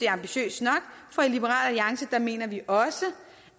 ambitiøst nok for i liberal alliance mener vi også